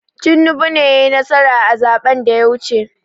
Tinibu ne yai nasara a zaɓen da ya wuce